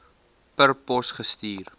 per pos gestuur